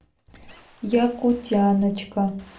якутяночка